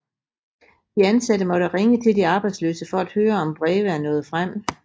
De ansatte måtte ringe til de arbejdsløse for at høre om breve er nået frem